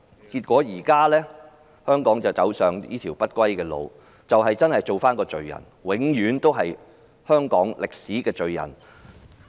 結果，香港現已走上這條不歸路，她要做一個罪人，永遠是香港的歷史罪人。